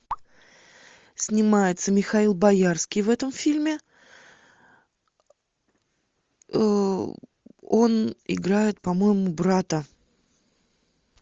снимается михаил боярский в этом фильме он играет по моему брата